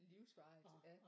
Livsvarigt ja